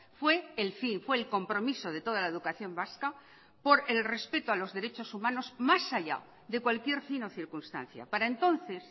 fue el fin fue el compromiso de toda la educación vasca por el respeto a los derechos humanos más allá de cualquier fin o circunstancia para entonces